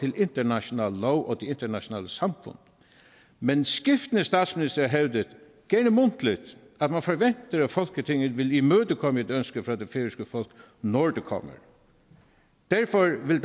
international lov og internationale samfund men skiftende statsministre har hævdet gerne mundtligt at man forventer at folketinget vil imødekomme et ønske fra det færøske folk når det kommer derfor vil